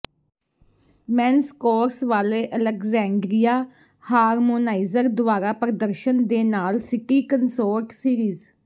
men's chorus ਵਾਲੇ Alexandria harmonizer ਦੁਆਰਾ ਪ੍ਰਦਰਸ਼ਨ ਦੇ ਨਾਲ ਸਿਟੀ ਕੰਸੋਰਟ ਸੀਰੀਜ਼